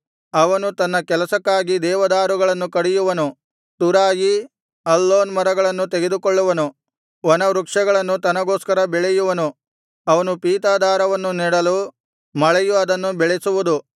ಅವನು ತನ್ನ ಕೆಲಸಕ್ಕಾಗಿ ದೇವದಾರುಗಳನ್ನು ಕಡಿಯುವನು ತುರಾಯಿ ಅಲ್ಲೋನ್ ಮರಗಳನ್ನು ತೆಗೆದುಕೊಳ್ಳುವನು ವನವೃಕ್ಷಗಳನ್ನು ತನಗೋಸ್ಕರ ಬೆಳೆಯುವನು ಅವನು ಪೀತದಾರವನ್ನು ನೆಡಲು ಮಳೆಯು ಅದನ್ನು ಬೆಳೆಸುವುದು